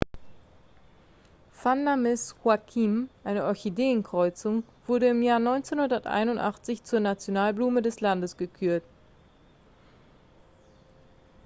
vanda miss joaquim eine orchideenkreuzung wurde im jahr 1981 zur nationalblume des landes gekürt